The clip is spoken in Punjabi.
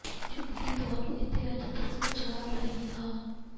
ਜੋ ਅਸੀਂ ਤੁਹਾਨੂੰ ਇੱਥੇ ਅੱਜ ਦੱਸਣ ਜਾ ਰਹੇ ਹਾਂ